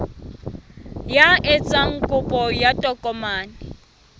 ya etsang kopo ya tokomane